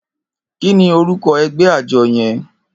Kini órúkò ègbè ájò yèn?